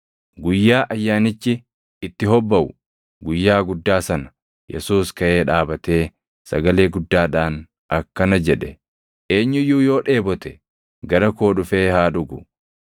Guyyaa Ayyaanichi itti hobbaʼu, guyyaa guddaa sana, Yesuus kaʼee dhaabatee sagalee guddaadhaan akkana jedhe; “Eenyu iyyuu yoo dheebote, gara koo dhufee haa dhugu.